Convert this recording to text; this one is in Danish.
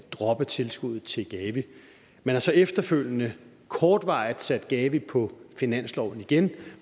droppe tilskuddet til gavi man har så efterfølgende kortvarigt sat gavi på finansloven igen